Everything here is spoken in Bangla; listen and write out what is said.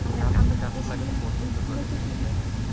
গাছ গাছ লাগাতে পছন্দ করেন তাই না?